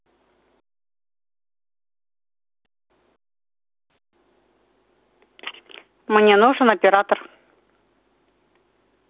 мне нужен оператор